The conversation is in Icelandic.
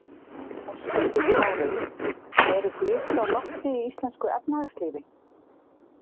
Höskuldur Kári: En eru blikur á lofti í íslensku efnahagslífi?